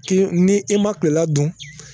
Ki ni e ma kilela dun